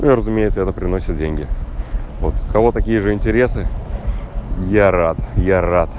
ну и разумеется это приносит деньги вот у кого такие же интересы я рад я рад